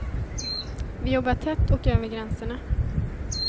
Vi jobbar tätt och över gränserna.